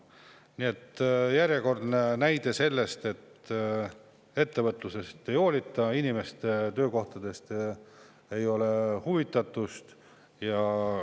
Nii et see on järjekordne näide sellest, et ettevõtlusest ei hoolita ja inimeste töökohtadest ei olda huvitatud.